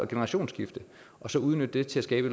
generationsskifte og så udnytte det til at skabe